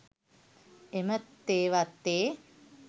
එම තේ වත්තේ